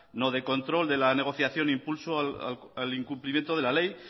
no de control de la negociación e impulso al incumplimiento de la ley